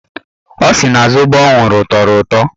Ọ sị na zobo ọ ṅụrụ tọrọ ụtọ.